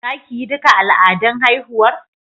Za ki yi duka al'adun haihuwar?